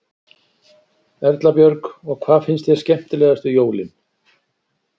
Erla Björg: Og hvað finnst þér skemmtilegast við jólin?